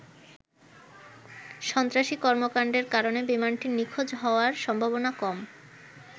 সন্ত্রাসী কর্মকাণ্ডের কারণে বিমানটির নিখোঁজ হওয়ার সম্ভাবনা কম।